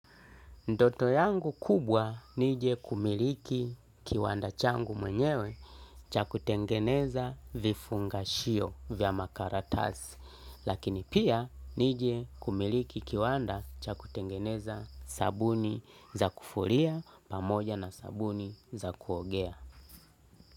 Ndoto yangu kubwa nije kumiliki kiwanda changu mwenyewe cha kutengeneza vifungashio vya makaratasi, lakini pia nije kumiliki kiwanda cha kutengeneza sabuni za kufulia pamoja na sabuni za kuogea.